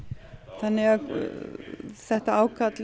þannig að þetta ákall